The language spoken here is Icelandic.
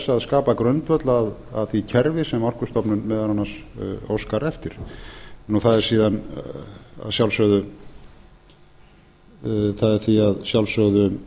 að skapa grundvöll að því kerfi sem orkustofnun meðal annars óskar eftir það er síðan að sjálfsögðu